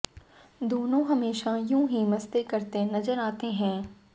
दोनों हमेशा यू हीं मस्ती करते नजर आते हैं